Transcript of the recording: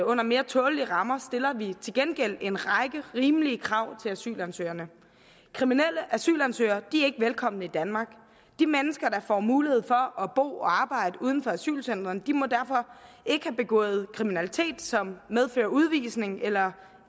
under mere tålelige rammer stiller vi til gengæld en række rimelige krav til asylansøgerne kriminelle asylansøgere er ikke velkomne i danmark de mennesker der får mulighed for at bo og arbejde uden for asylcentrene må derfor ikke have begået kriminalitet som medfører udvisning eller